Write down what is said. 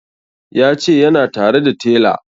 Ya ce yana tare da tela